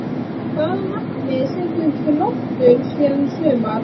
Hvaða markmið setur Þróttur sér í sumar?